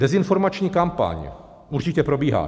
Dezinformační kampaň určitě probíhá.